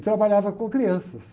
E trabalhava com crianças.